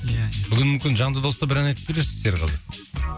ия бүгін мүмкін жанды дауыста бір ән айтып берерсіз серғазы